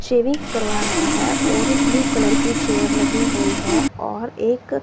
shaving करवा रहा है और ब्लू कलर की चेयर लगी हुई है और एक--